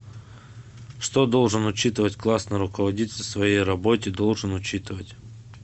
что должен учитывать классный руководитель в своей работе должен учитывать